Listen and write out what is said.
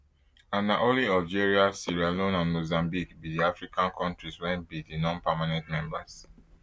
and na only algeria sierra leone and mozambique bi di african kontris wey be nonpermanent members